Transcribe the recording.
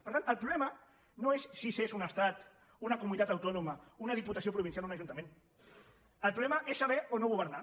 per tant el problema no és si s’és un estat una comu·nitat autònoma una diputació provincial o un ajunta·ment el problema és saber o no governar